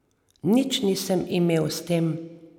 Nič nisem imel s tem.